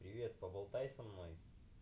привет поболтай со мной